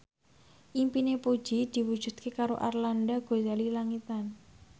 impine Puji diwujudke karo Arlanda Ghazali Langitan